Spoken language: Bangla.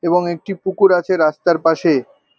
এবং একটি পুকুর আছে রাস্তার পাশে।